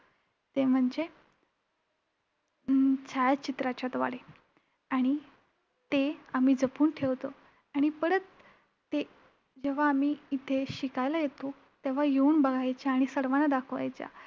ते म्हणजे अं छायाचित्राच्याद्वारे! आणि ते आम्ही जपून ठेवतो आणि परत ते जेव्हा आम्ही इथे शिकायला येतो तेव्हा येऊन बघायच्या आणि सर्वांना दाखवायच्या.